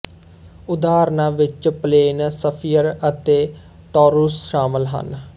ਉਦਾਹਰਨਾਂ ਵਿੱਚ plane sphere ਅਤੇ ਟੌਰੁਸ ਸ਼ਾਮਲ ਹਨ